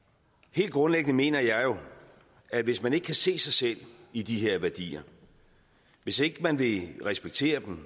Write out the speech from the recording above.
helt grundlæggende mener jeg jo at hvis man ikke kan se sig selv i de her værdier hvis ikke man vil respektere dem